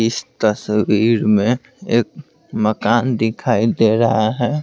इस तस्वीर में एक मकान दिखाई दे रहा है।